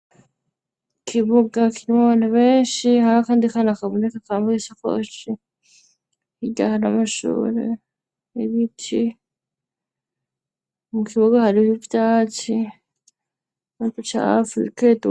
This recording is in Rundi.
Ikibuga kinwa bantu benshi hari akandi kana akabuneka kamba gisakoci iryahara amashooro ebiti mu kibuga hari iiivyaci natu ca afiibikeewa.